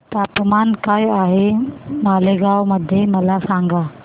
तापमान काय आहे मालेगाव मध्ये मला सांगा